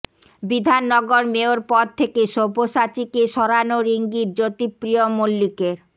Bidhannagar mayor পদ থেকে সব্যসাচীকে সরানোর ইঙ্গিত জ্যোতিপ্রিয় মল্লিকের